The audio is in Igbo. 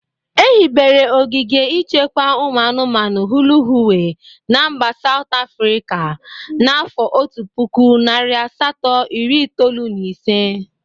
Ehibere ogige ichekwa ụmụ anụmanụ Hluhuwe na mba Saut Afrịka n'afọ otu puku, narị asatọ, iri itolu na ise.